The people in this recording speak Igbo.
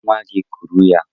Lee nwa gị, kuru ya.